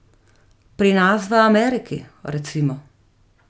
Pri nas v Ameriki, recimo.